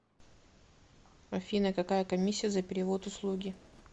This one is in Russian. афина какая комисия за перевод услуги